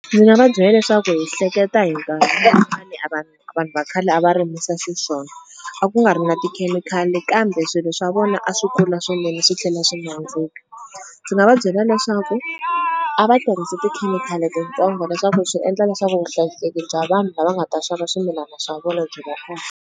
Ndzi nga va byela leswaku hi hleketa hi a va a vanhu va khale a va rimisi xiswona, a ku nga ri na tikhemikhali kambe swilo swa vona a swi kula swinene swi tlhela swi nandzika. Ndzi nga va byela leswaku a va tirhisi tikhemikhali titsongo leswaku swi endla leswaku vuhlayiseki bya vanhu lava nga ta xava swimilana swa vona byi va kona.